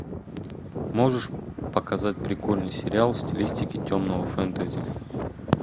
можешь показать прикольный сериал в стилистике темного фэнтези